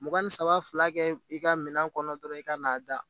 Mugan ni saba fila kɛ i ka minɛn kɔnɔ dɔrɔn i ka n'a da